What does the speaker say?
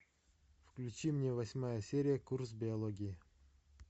включи мне восьмая серия курс биологии